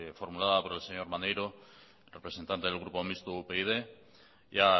formulada por el señor maneiro representante del grupo mixto upyd ya